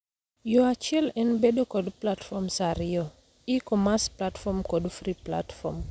Yoo achiel en bedo kod platforms ariyo: e-commerce platform kod free platform.